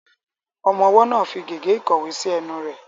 Ọmọ ọwọ́ náà ń fi gègé ìkọ̀wé sí ẹnu rẹ̀.